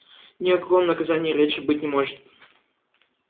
ни о каком наказании и речи быть не может